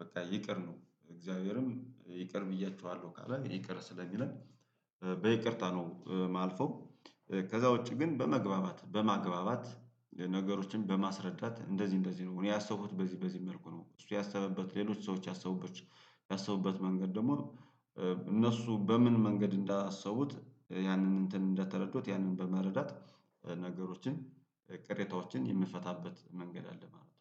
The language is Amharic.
በቃ ይቅር ነው እግዚአብሔርም ይቅር ብያችኋለሁ ካለ ይቅር ስለሚለን በይቅርታ ነው ማልፈው ከዛ ውጪ ግን በመግባባት በማግባባት ነገሮችን በማስረዳት እንደዚህ እንደዚህ ነው እኔ ያሰቡት በዚህ በዚህ መልኩ ነው እሱ ያሰበበት ሌሎች ሰዎች ያሰቡበት ያሰቡበት መንገድ ደግሞ እነሱ በምን መንገድ እንዳሰቡት ያንን እንትን እንደተረዱት ያንን በመረዳት ነገሮችን ቅሬታዎችን የምፈታበት መንገድ አለ ማለት ነው